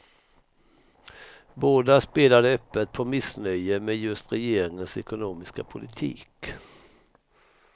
Båda spelade öppet på missnöje med just regeringens ekonomiska politik.